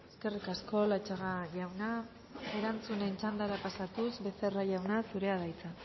eskerrik asko latxaga jauna erantzunen txandara pasatuz becerra jauna zurea da hitza